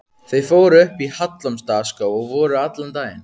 Þau fóru upp í Hallormsstaðarskóg og voru allan daginn.